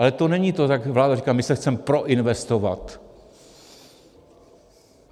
Ale to není to, jak vláda říká, že se chce proinvestovat.